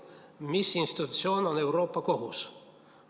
Mis institutsioon on Euroopa Kohus?